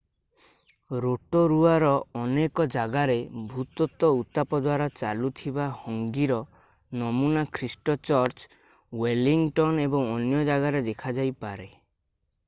Rotorua ର ଅନେକ ଜାଗାରେ ଭୂତତ୍ତ୍ଵ ଉତ୍ତାପ ଦ୍ଵାରା ଚାଲୁଥିବା ହଙ୍ଗି ର ନମୁନା ଖ୍ରୀଷ୍ଟ ଚର୍ଚ ୱେଲିଙ୍ଗଟନ ଏବଂ ଅନ୍ୟ ଜାଗାରେ ଦେଖାଯାଇପାରେ